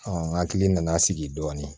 nga hakili nana sigi dɔɔnin